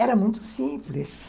Era muito simples.